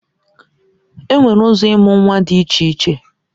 Enwere ụzọ ịmụ nwa dị iche iche